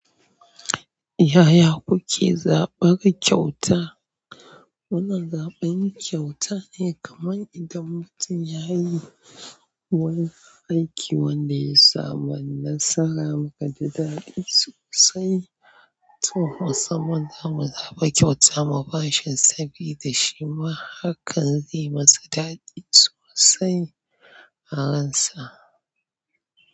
Yaya kuke zaɓar kyauta? Wannan zaɓin kyautar ne kamar idan mutum ya yi wani aiki wanda ya samu nasara muka ji daɗi sosai, to musamman za mu zaɓa kyauta mu bashi sabida shi ma hakan zai masa daɗi sosai a ransa.